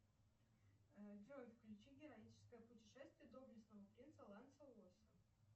джой включи героическое путешествие доблестного принца ланселося